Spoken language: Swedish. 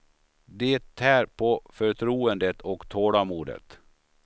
Det tär på förtroendet och tålamodet.